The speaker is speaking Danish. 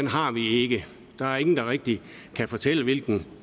har vi ikke der er ingen der rigtig kan fortælle hvilken